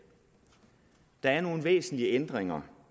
der er nogle væsentlige ændringer